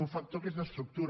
un factor que és d’estructura